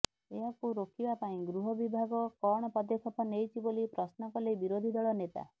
ଏହାକୁ ରୋକିବା ପାଇଁ ଗୃହ ବିଭାଗ କଣ ପଦକ୍ଷେପ ନେଇଛି ବୋଲି ପ୍ରଶ୍ନ କଲେ ବିରୋଧୀ ଦଳ ନେତା